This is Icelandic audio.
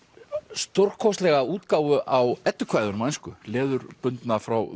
stórkostlega útgáfu á Eddukvæðunum á ensku leðurbundna frá